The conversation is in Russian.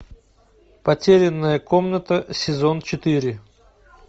потерянная комната сезон четыре